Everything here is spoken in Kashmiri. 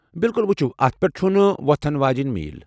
بِلکُل ۔ ؤچھِو، اتھ پٮ۪ٹھ چُھنہٕ ووتھن واجینۍ میٖل ۔